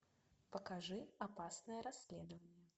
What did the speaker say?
покажи опасное расследование